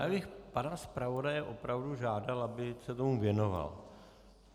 Já bych pana zpravodaje opravdu žádal, aby se tomu věnoval.